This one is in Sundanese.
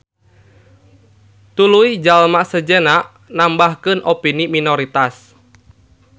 Tuluy jalma sejenna nambahkeun opini minoritas.